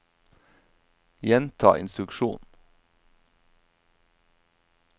gjenta instruksjon